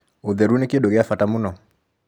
ũtheru nĩ kĩndũ gĩa bata múno